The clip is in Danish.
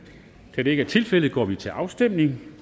da det ikke er tilfældet går vi til afstemning